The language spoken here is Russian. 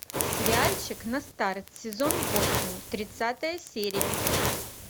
сериальчик на старт сезон восемь тридцатая серия